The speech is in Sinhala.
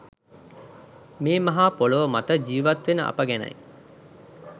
මේ මහා පොළොව මත ජීවත් වෙන අප ගැනයි